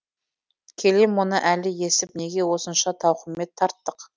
келем оны әлі естіп неге осынша тауқымет тарттық